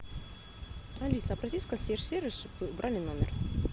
алиса обратись в консьерж сервис чтобы убрали номер